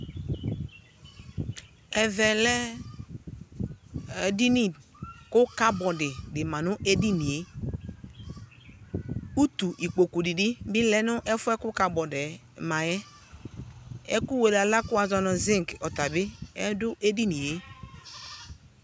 Ɛvɛ lɛ edini ko kabɔdi de ma no edinie Utu ukpoku de be be lɛ no ɛfuɛ ko kabɔdɛ ma yɛ Ɛku wele ala ko wazɔ no zink ɔta be ɛdo edinie